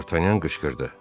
D'Artagnan qışqırdı.